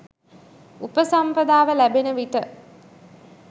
උපසම්පදාව ලැබෙන විට